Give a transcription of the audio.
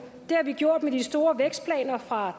det har vi gjort med de store vækstplaner fra